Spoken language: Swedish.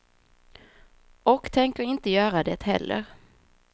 Och tänker inte göra det heller.